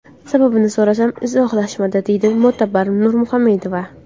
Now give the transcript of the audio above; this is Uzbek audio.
Sababini so‘rasam, izohlashmadi”, deydi Mo‘tabar Nurmuhammedova.